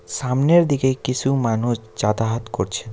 সামনের দিকে কিছু মানুষ যাতায়াত করছেন।